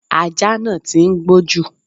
Ajá náà tí ń gbó jù.